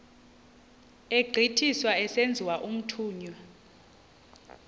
egqithiswa esenziwa umthunywa